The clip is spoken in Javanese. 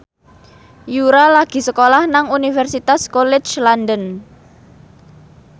Yura lagi sekolah nang Universitas College London